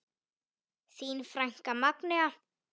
Þín frænka, Magnea.